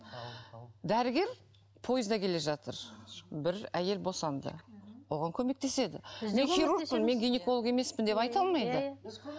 дәрігер поезда келе жатыр бір әйел босанды оған көмектеседі мен хирургпын мен гинеколог емеспін деп айта алмайды